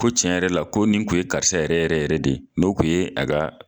Ko tiɲɛ yɛrɛ la ko nin tun ye karisa yɛrɛ yɛrɛ yɛrɛ de ye n'o tun ye a ka